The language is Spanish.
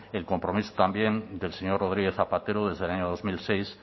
el compromiso también del señor rodríguez zapatero desde el año dos mil seis